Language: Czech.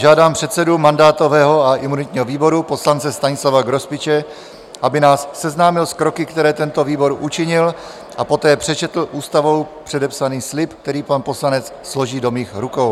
Žádám předsedu mandátového a imunitního výboru, poslance Stanislava Grospiče, aby nás seznámil s kroky, které tento výbor učinil, a poté přečetl Ústavou předepsaný slib, který pan poslanec složí do mých rukou.